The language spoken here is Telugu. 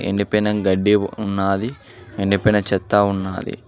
ఎండిపోయిన గడ్డి ఉన్నాది ఎండిపోయిన చెత్త ఉన్నాది.